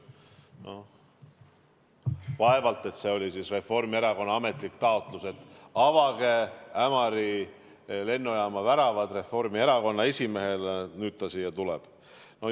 Vaevalt see oli Reformierakonna ametlik taotlus, et avage Ämari lennujaama väravad Reformierakonna esimehele, nüüd ta siia tuleb.